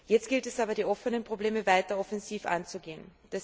Jetzt gilt es aber, die offenen Probleme weiter offensiv anzugehen.